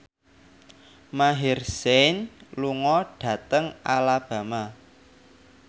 Maher Zein lunga dhateng Alabama